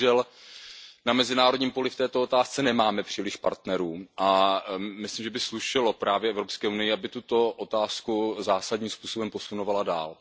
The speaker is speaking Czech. My bohužel na mezinárodním poli v této otázce nemáme příliš partnerů a myslím, že by slušelo právě Evropské unii, aby tuto otázku zásadním způsobem posunovala dál.